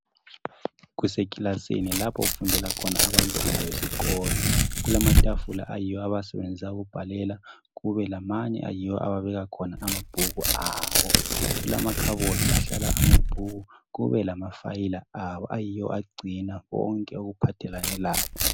Kusekilasini lapho okufundela khona abantwana besikolo. Kulamatafula ayiwo abawasebenzisa ukubhalela kube lamanye ababeka khona amabhuku abo. Kulamakhabothi ahlala amabhuku ,kube lamafayila abo agcina konke okuphathelane labo.